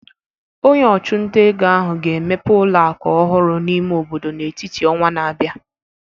Onye ọchụnta ego ahụ ga-emepe ụlọ akụ ọhụrụ n'ime obodo n'etiti ọnwa na-abịa